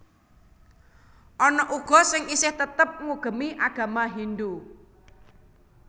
Ana uga sing isih tetep ngugemi agama Hindhu